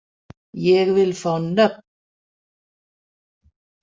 Ég vil fá nöfn.